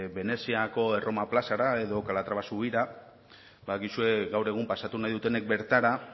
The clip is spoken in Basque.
veneziako erroma plazara edo calatrava zubira badakizue gaur egun pasatu nahi dutenek bertara